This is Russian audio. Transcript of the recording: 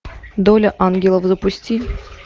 доля ангелов запусти